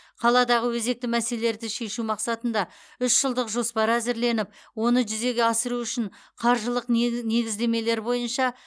қаладағы өзекті мәселелерді шешу мақсатында үшжылдық жоспар әзірленіп оны жүзеге асыру үшін қаржылық негі негіздемелер бойынша